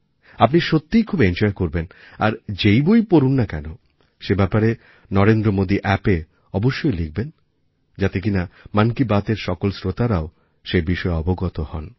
আপনি সত্যিই খুব এনজয় করবেন আর যেই বই পড়ুন না কেন সেই ব্যাপারে NarendraModiAppএ অবশ্যই লিখবেন যাতে কিনা মন কি বাতএর সকল শ্রোতারাও সেই বিষয়ে অবগত হন